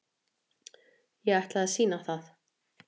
Ég ætla að sýna það.